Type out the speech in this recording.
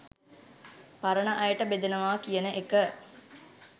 පරණ අයට බෙදනවා කියන එක